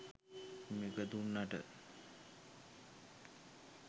මේක දුන්නට